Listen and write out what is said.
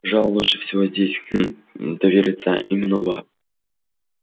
и пожалуй лучше всего здесь хм довериться именно вам